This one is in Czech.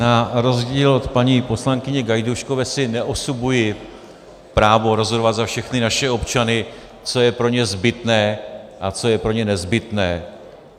Na rozdíl od paní poslankyně Gajdůškové si neosobuji právo rozhodovat za všechny naše občany, co je pro ně zbytné a co je pro ně nezbytné.